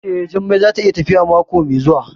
Eh, Jummai za ta yi tafiya mako mai zuwa